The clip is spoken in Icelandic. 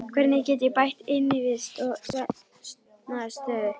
Hvernig get ég bætt innivist og svefnaðstöðu?